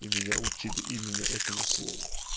и меня учили именно этому слову